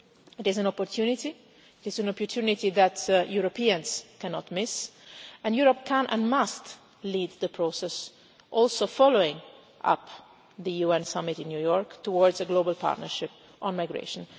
It is an opportunity, it is an opportunity that Europeans cannot miss, and Europe can and must lead the process, also following up the UN summit in New York towards a global partnership on migration.